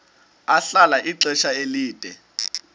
ahlala ixesha elide